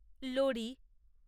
লোরি